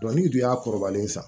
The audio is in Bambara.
n'u dun y'a kɔrɔbalen san